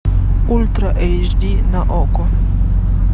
ультра эйч ди на окко